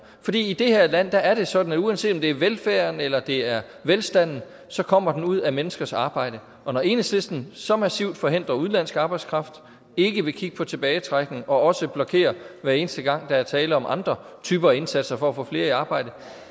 i det her land er er det sådan at uanset om det er velfærden eller det er velstanden så kommer den ud af menneskers arbejde og når enhedslisten så massivt forhindrer udenlandsk arbejdskraft ikke vil kigge på tilbagetrækning og også blokerer hver eneste gang der er tale om andre typer af indsatser for at få flere i arbejde